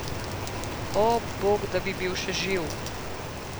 O, Bog, da bi bil še živ!